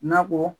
Nakɔ